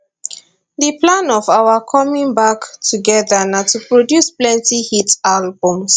di plan of our coming back together na to produce plenty hit albums